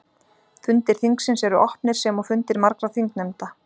Fundir þingsins eru opnir sem og fundir margra þingnefnda.